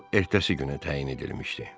Bal ertəsi günə təyin edilmişdi.